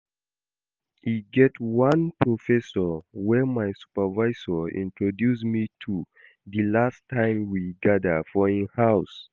E get one Professor wey my supervisor introduce me to the last time we gather for im house